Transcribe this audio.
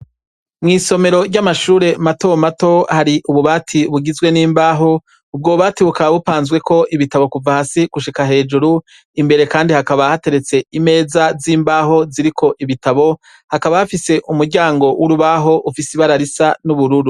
Mwisomero ry'amashure matomato hari ububati bugizwe nimbaho; ubwo bubati bukaba bupanzweko ibitabo kuva hasi gushika hejuru , imbere kandi hakaba bateretse imeza z'imbaho ziriko ibitabo hakaba hafise umuryango w'urubaho rufise ibara n'ubururu.